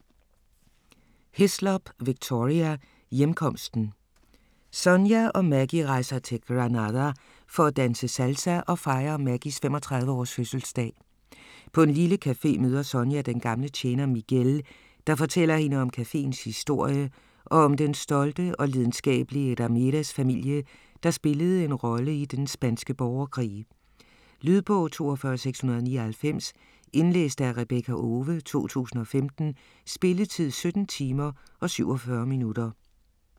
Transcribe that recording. Hislop, Victoria: Hjemkomsten Sonia og Maggie rejser til Granada for at danse salsa og fejre Maggies 35 års fødselsdag. På en lille café møder Sonia den gamle tjener Miguel, der fortæller hende om cafeens historie og om den stolte og lidenskabelige Ramirez-familie, der spillede en rolle i den spanske borgerkrig. Lydbog 42699 Indlæst af Rebekka Owe, 2015. Spilletid: 17 timer, 47 minutter.